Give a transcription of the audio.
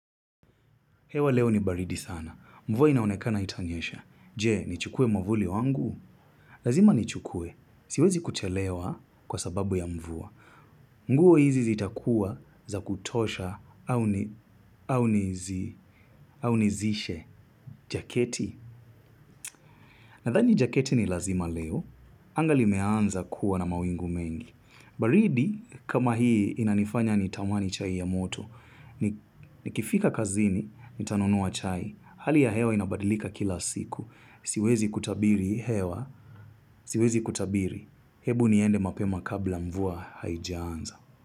Hewa leo ni baridi sana. Mvua inaonekana haitanyesha. Je? Nichukue mwavuli wangu? Lazima ni chukue. Siwezi kuchelewa kwa sababu ya mvua. Nguo hizi zitakuwa za kutosha au nizi, au nizishe. Jaketi. Nadhani jaketi ni lazima leo. Anga limeanza kuwa na mawingu mengi. Baridi, kama hii inanifanya nitamani chai ya moto. Nikifika kazini, nitanunua chai. Hali ya hewa inabadilika kila siku. Siwezi kutabiri hewa. Siwezi kutabiri. Hebu niende mapema kabla mvua haijaanza.